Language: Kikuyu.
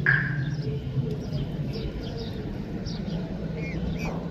Thĩ ya nyũmba yake yahumbĩrirwo na prastiki.